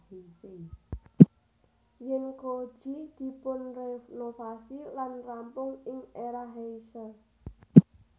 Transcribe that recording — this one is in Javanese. Zenko ji dipunrenovasi lan rampung ing Era Heisei